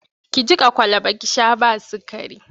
Ki jiƙa kwalaba ki sha ba sikari!